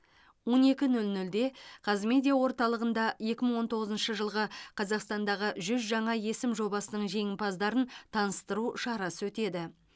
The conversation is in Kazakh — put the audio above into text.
он екі нөл нөлде қазмедиа орталығында екі мың он тоғызыншы жылғы қазақстандағы жүз жаңа есім жобасының жеңімпаздарын таныстыру шарасы өтеді